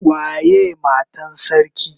Waye Matan sarki?